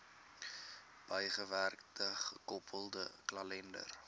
bygewerkte gekoppelde kalender